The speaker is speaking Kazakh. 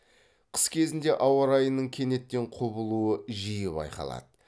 қыс кезінде ауа райының кенеттен құбылуы жиі байқалады